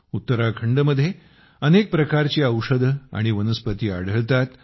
उत्तराखंडमध्ये अनेक प्रकारची औषधे आणि वनस्पती आढळतात